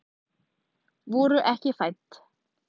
Voru ekki fædd